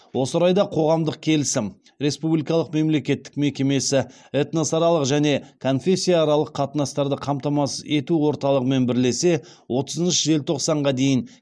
осы орайда қоғамдық келісім республикалық мемлекеттік мекемесі этносаралық және конфессияаралық қатынастарды қамтамасыз ету орталығымен бірлесе отызыншы желтоқсанға дейін